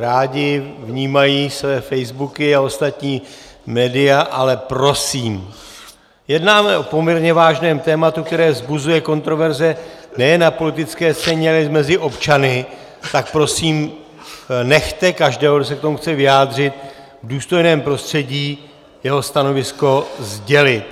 rádi vnímají své facebooky a ostatní média, ale prosím, jednáme o poměrně vážném tématu, které vzbuzuje kontroverze nejen na politické scéně, ale i mezi občany, tak prosím, nechte každého, kdo se k tomu chce vyjádřit, v důstojném prostředí jeho stanovisko sdělit!